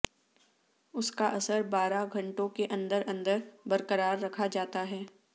اس کا اثر بارہ گھنٹوں کے اندر اندر برقرار رکھا جاتا ہے